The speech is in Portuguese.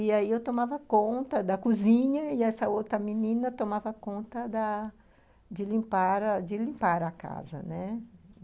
E aí eu tomava conta da cozinha e essa outra menina tomava conta da de de limpar a casa, né?